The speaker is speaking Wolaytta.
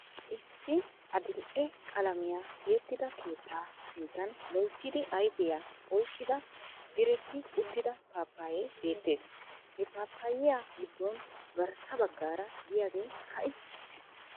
Issi adl'e qalamiyaa tiyettida keettaa sinttan loyttiidi ayfiyaa oyqqida diretti uttida paappaye beettees. He paapayiya giddon garssa baggaara diyaage ka"i uttis.